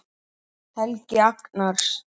Helgi Agnars.